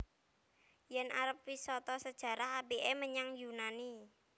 Yen arep wisata sejarah apike menyang Yunani